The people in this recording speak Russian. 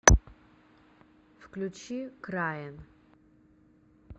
включи крайн